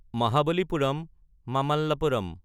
Mahabalipuram (Mamallapuram)